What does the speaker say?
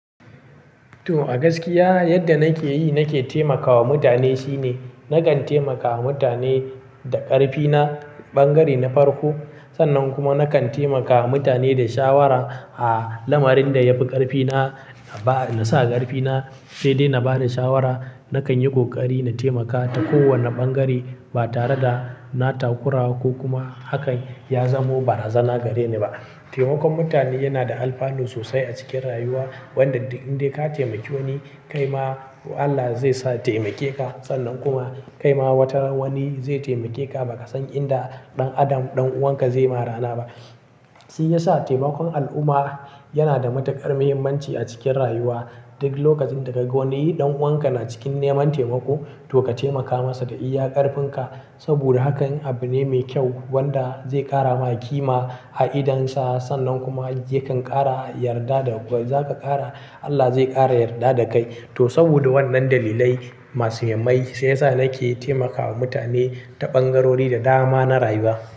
To, a gaskiya yadda nake yi nake taimakawa mutane shine nakan taimakawa mutane da ƙarfi na, ɓangare na farko. Sannan kuma nakan taimakawa mutane da shawara. A lamarin da yafi ƙarfi na, na ba, na sa ƙarfi na sai dai na ba da shawara. Nakan yi ƙoƙari na taimaka ta kowane ɓangare ba tare da na takurawa ko kuma haka ya zamo ba razana gare ni ba. Taimakon mutane yana da alfanu sosai a cikin rayuwa. Wanda duk in dai ka taimaki wani kai ma Allah zai sa taimake ka. Sannan kuma kai ma wataran wani zai taimake ka ba ka san inda ɗan adam ɗan uwanka zai ma rana ba. Shi ya sa taimakon al'umma yana da matuƙar muhimmanci a cikin rayuwa. Duk lokacin da ka ga wani ɗan uwanka na cikin neman taimako to ka taimaka masa da iya ƙarfinka. Saboda haka in abu ne mai kyau wanda zai ƙara maka kima a idon Sa. Sannan kuma yakan ƙara yarda da. Ba zaka ƙara Allah zai ƙara yarda da kai. To saboda wannan dalilai masu muhimmai shi ya sa nake taimakawa mutane ta ɓangarori da dama na rayuwa.